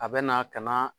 A bɛ na ka na